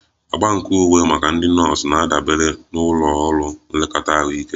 Agba nke uwe maka ndị nọọsụ na-adabere na ụlọ ọrụ nlekọta ahụike